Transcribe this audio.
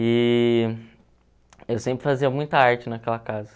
E eu sempre fazia muita arte naquela casa.